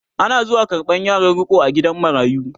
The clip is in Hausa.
Ana zuwa karɓan yaran riko a gidan marayu